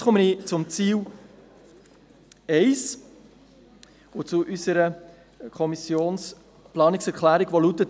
Nun komme ich zu Ziel 1 und zu unserer Planungserklärung, die lautet: